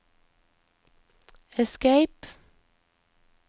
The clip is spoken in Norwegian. escape